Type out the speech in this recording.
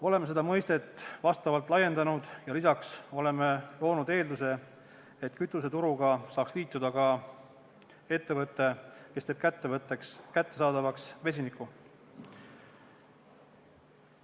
Oleme seda mõistet laiendanud ja lisaks oleme loonud eelduse, et kütuseturuga saaks liituda ka ettevõte, kes teeb kättesaadavaks vesiniku.